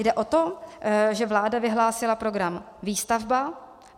Jde o to, že vláda vyhlásila program Výstavba.